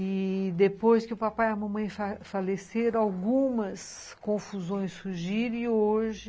E depois que o papai e a mamãe fale faleceram, algumas confusões surgiram e hoje...